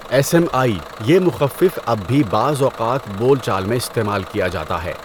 S M I یہ مخفف اب بھی بعض اوقات بول چال میں استعمال کیا جاتا ہے۔